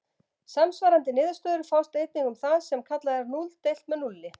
Samsvarandi niðurstöður fást einnig um það sem kallað er núll deilt með núlli.